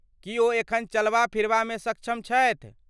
की ओ एखन चलबा फिरबा मे सक्षम छथि ?